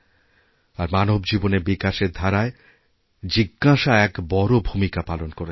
আর মানব জীবনের বিকাশের ধারায় জিজ্ঞাসা এক বড় ভূমিকা পালন করেছে